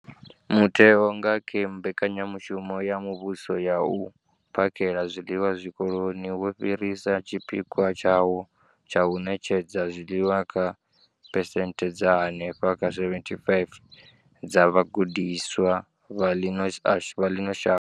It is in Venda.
Mutheo, nga kha mbekanyamushumo ya muvhuso ya u phakhela zwiḽiwa wikoloni, wo fhirisa tshipikwa tshawo tsha u ṋetshedza zwiḽiwa kha phesenthe dza henefha kha 75 dza vhagudiswa vha ḽino shango.